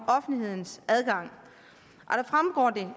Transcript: offentlighedens adgang